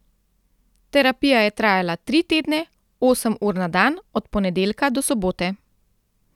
Terapija je trajala tri tedne, osem ur na dan, od ponedeljka do sobote.